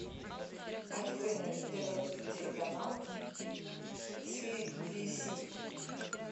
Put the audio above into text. открой на тв телеканал си би си